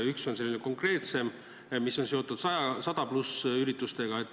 Üks on selline konkreetsem ja seotud 100+ üritustega.